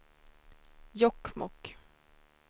Jokkmokk